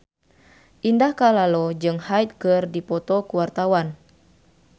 Indah Kalalo jeung Hyde keur dipoto ku wartawan